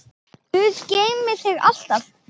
Guð geymi þig alltaf.